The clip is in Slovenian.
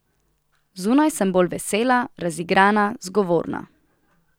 Zunaj sem bolj vesela, razigrana, zgovorna.